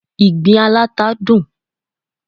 Ìgbín aláta dùn